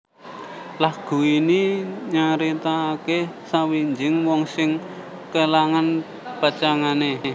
Lagu ini nyaritakake sawijining wong sing kelangan pacangané